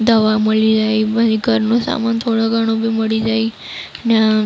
દવા મલી જાય. પછી ઘરનો સામાન થોડો ઘણો બી મળી જાય ને--